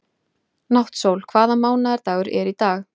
Náttsól, hvaða mánaðardagur er í dag?